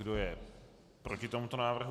Kdo je proti tomuto návrhu?